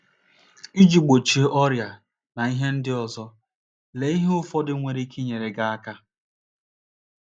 Iji gbochie ọrịa na ihe ndị ọzọ, lee ihe ụfọdụ nwere ike inyere gị aka.